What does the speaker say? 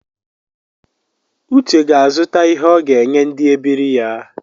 Uche ga-azụta ihe ọ ga-enye ndi ebiri ya